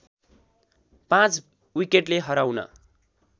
५ विकेटले हराउन